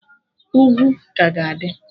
Ugwu ka ga-adị